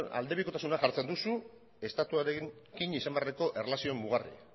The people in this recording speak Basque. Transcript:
aldebikotasuna jartzen duzu estatuarekin izan beharreko erlazioa mugarri